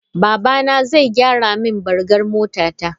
Babana zai gyara min bargar motata.